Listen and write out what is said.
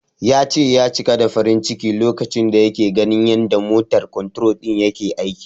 Ya ce, ya cika da farin ciki lokacin da yake ganin yanda "motor control" din yake aiki.